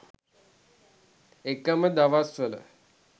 එකම දවස්වල